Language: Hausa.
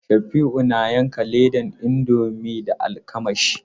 Sabi'u na yanka ledan indomi da almakashi.